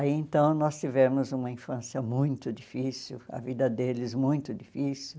Aí então nós tivemos uma infância muito difícil, a vida deles muito difícil.